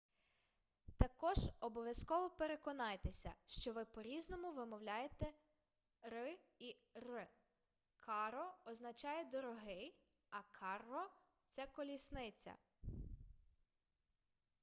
також обов'язково переконайтеся що ви по-різному вимовляєте r і rr caro означає дорогий а carro це колісниця